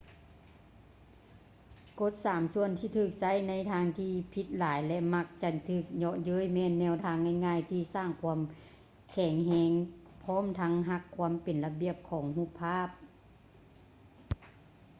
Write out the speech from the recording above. ກົດສາມສ່ວນທີ່ຖືກໃຊ້ໃນທາງທີ່ຜິດຫຼາຍ ແລະ ມັກຈະຖືກເຍາະເຍີ້ຍແມ່ນແນວທາງງ່າຍໆທີ່ສ້າງຄວາມແຂງແຮງພ້ອມທັງຮັກຄວາມເປັນລະບຽບຂອງຮູບພາບ